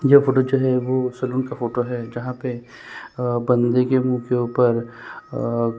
यह फोटो जो है वो सेलून का फोटो है जहां पे बंदे के मू के ऊपर--